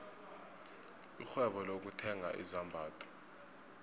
irhwebo lokuthenga izambatho